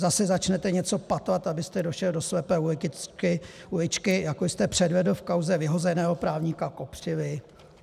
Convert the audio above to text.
Zase začnete něco patlat, abyste došel do slepé uličky, jako jste předvedl v kauze vyhozeného právníka Kopřivy?